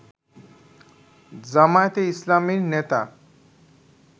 জামায়াতে ইসলামীর নেতা